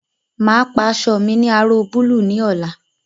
Máa pa aṣọ mi ní aró búlúù ní ọ̀la